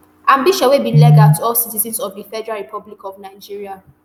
ambition wey be legal to all citizens of di federal republic of nigeria